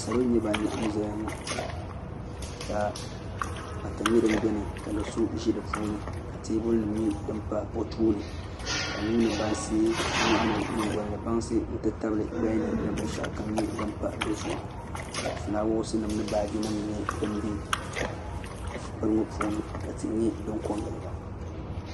salo n nyɛ ban laɣam ʒɛya ŋo ka pata nyɛ din biɛni ka do so ʒi di puuni ka teebuli nim nyɛ din ʒɛ o tooni ka nuuni bansi nyingoli ni bansi n ti tabili gbaya ni ni binshaɣu kam nyɛ din pa dizuɣu ka fulaawaasi nim ni baaji nim nyɛ din bɛ nini ŋo puuni ka tihi nyɛ din ko n giliba